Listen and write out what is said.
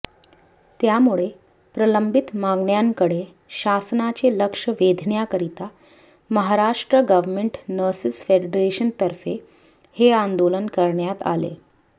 त्यामुळे प्रलंबित मागण्यांकडे शासनाचे लक्ष वेधण्याकरिता महाराष्ट्र गव्हर्नमेंट नर्सेस फेडरेशनतर्फे हे आंदोलन करण्यात आले